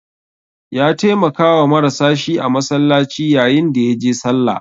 Ya taimakawa marasa shi a masallaci yayin da ya je sallah.